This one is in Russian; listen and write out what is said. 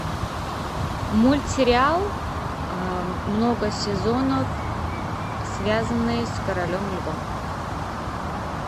мультсериал много сезонов связанный с королем львом